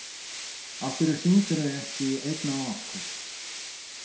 Af hverju hringdirðu ekki í einn af okkur?